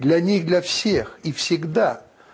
для них для всех и всегда